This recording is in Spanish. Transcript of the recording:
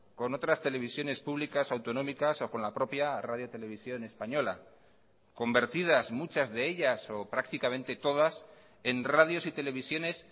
con otras televisiones públicas autonómicas o con la propia radio televisión española convertidas muchas de ellas o prácticamente todas en radios y televisiones